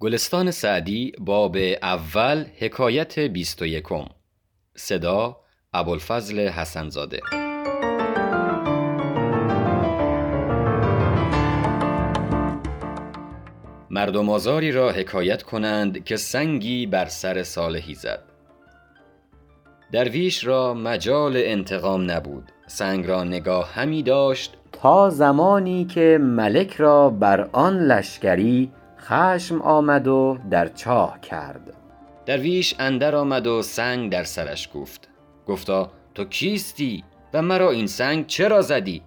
مردم آزاری را حکایت کنند که سنگی بر سر صالحی زد درویش را مجال انتقام نبود سنگ را نگاه همی داشت تا زمانی که ملک را بر آن لشکری خشم آمد و در چاه کرد درویش اندر آمد و سنگ در سرش کوفت گفتا تو کیستی و مرا این سنگ چرا زدی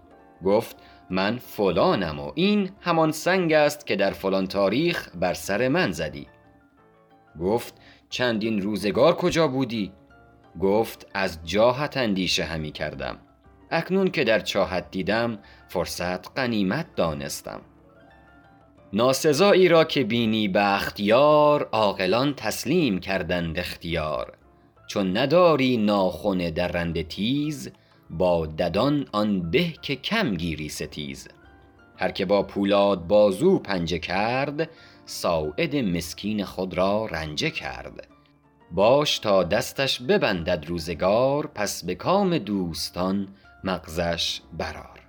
گفت من فلانم و این همان سنگ است که در فلان تاریخ بر سر من زدی گفت چندین روزگار کجا بودی گفت از جاهت اندیشه همی کردم اکنون که در چاهت دیدم فرصت غنیمت دانستم ناسزایی را که بینی بخت یار عاقلان تسلیم کردند اختیار چون نداری ناخن درنده تیز با ددان آن به که کم گیری ستیز هر که با پولاد بازو پنجه کرد ساعد مسکین خود را رنجه کرد باش تا دستش ببندد روزگار پس به کام دوستان مغزش بر آر